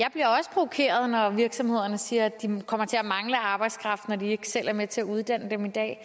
provokeret når virksomhederne siger at de kommer til at mangle arbejdskraft når de ikke selv er med til at uddanne dem i dag